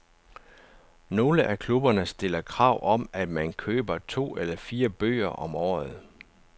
Nogle af klubberne stiller krav om, at man køber to eller fire bøger om året.